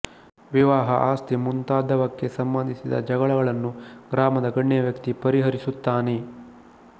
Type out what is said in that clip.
ವಿವಾಹ ಆಸ್ತಿ ಮುಂತಾದವಕ್ಕೆ ಸಂಬಂಧಿಸಿದ ಜಗಳಗಳನ್ನು ಗ್ರಾಮದ ಗಣ್ಯವ್ಯಕ್ತಿ ಪರಿಹರಿಸುತ್ತಾನೆ